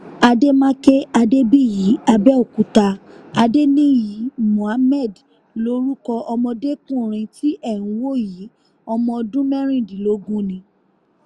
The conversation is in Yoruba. àdèmàkè adébíyí àbẹ̀òkúta adéníyí muhammed lorúkọ ọmọdékùnrin tí ẹ̀ ń wò yìí ọmọ ọdún mẹ́rìndínlógún ni